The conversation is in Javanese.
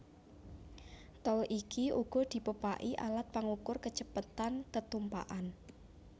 Tol iki uga dipepaki alat pangukur kacepetan tetumpakan